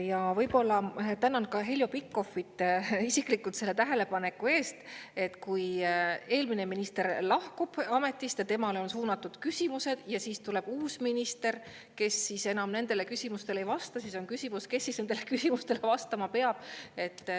Ja ma tänan ka Heljo Pikhofi mina isiklikult selle tähelepaneku eest, et kui eelmine minister lahkub ametist ja temale on suunatud küsimused, ja siis tuleb uus minister, kes nendele küsimustele ei vasta, siis on küsimus, kes ikkagi nendele küsimustele vastama peab.